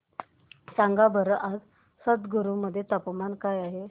सांगा बरं आज संगरुर मध्ये तापमान काय आहे